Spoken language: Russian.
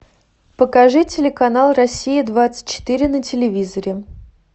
покажи телеканал россия двадцать четыре на телевизоре